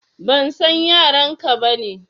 Ban san yaran ka ba ne.